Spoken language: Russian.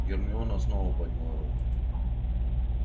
гермиона снова подняла руку